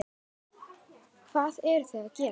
Hvað eru þau að gera?